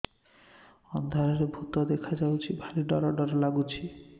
ଅନ୍ଧାରରେ ଭୂତ ଦେଖା ଯାଉଛି ଭାରି ଡର ଡର ଲଗୁଛି